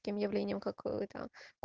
объявлением какой-то